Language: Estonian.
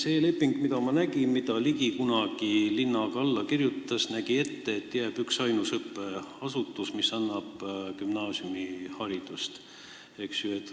See leping, mida ma nägin ja mille Ligi kunagi koos linnaga alla kirjutas, nägi ette, et jääb üksainus õppeasutus, mis annab gümnaasiumiharidust.